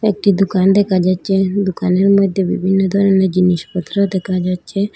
একটি দুকান দেখা যাচ্চে দুকানের মইধ্যে বিভিন্ন ধরনের জিনিসপত্র দেখা যাচ্চে।